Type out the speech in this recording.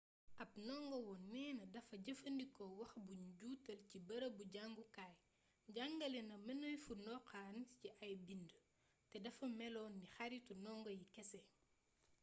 ab ndongowoon neena dafa jëfandikoo wax bu nu juutal ci bërëbu jàngukaay jàngale na mënefu ndoxaan ci ay bind te dafa melon ni xaritu ndongo yi kese